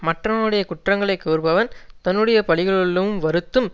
மற்றவனுடைய குற்றங்களை கூறுபவன் தன்னுடைய பழிகளுள்ளும் வருத்தும்